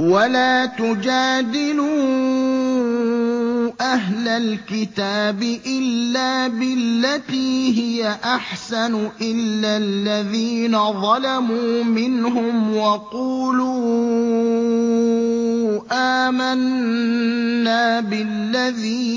۞ وَلَا تُجَادِلُوا أَهْلَ الْكِتَابِ إِلَّا بِالَّتِي هِيَ أَحْسَنُ إِلَّا الَّذِينَ ظَلَمُوا مِنْهُمْ ۖ وَقُولُوا آمَنَّا بِالَّذِي